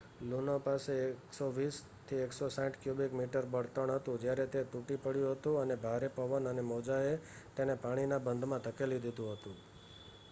લુનો પાસે 120-160 cubic metre બળતણ હતું જ્યારે તે તૂટી પડ્યું હતું અને ભારે પવન અને મોજાએ તેને પાણીના બંધમાં ધકેલી દીધું હતું